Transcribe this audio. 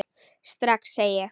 Strax, sagði ég.